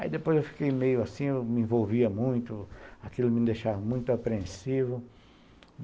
Aí depois eu fiquei meio assim, me envolvia muito, aquilo me deixava muito apreensivo.